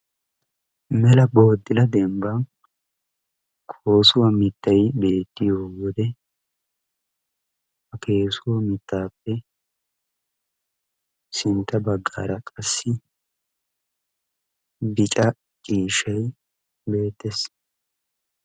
melaa boodila dembban koossuwa mittay beettiyo wodee ha koossuwa mittappe sintta bagggaraqassi bicca ciishshay beettes.